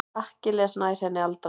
Akkilles nær henni aldrei.